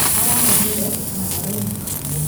Arahonire na arainũka.